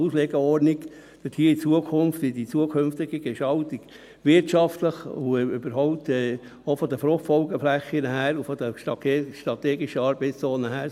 eine Auslegeordnung für die zukünftige Gestaltung, wirtschaftlich und überhaupt, auch von den FFF her und den strategischen Arbeitszonen.